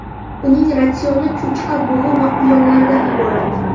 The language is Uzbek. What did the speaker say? Uning ratsioni cho‘chqa, bug‘u va quyonlardan iborat.